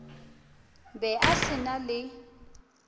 be a se na le